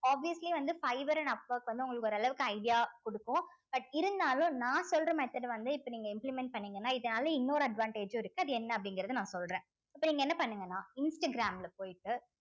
obviously வந்து fibre and upwork வந்து உங்களுக்கு ஒரு அளவுக்கு idea குடுக்கும் but இருந்தாலும் நான் சொல்ற method அ வந்து இப்போ நீங்க implement பண்ணீங்கன்னா இதனால இன்னொரு advantage உம் இருக்கு அது என்ன அப்படிங்கிறதை நான் சொல்றேன் இப்ப நீங்க என்ன பண்ணுங்கன்னா இன்ஸ்டாகிராம்ல போய்ட்டு